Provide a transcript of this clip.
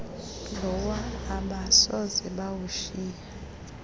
lowa abasoze bawushiye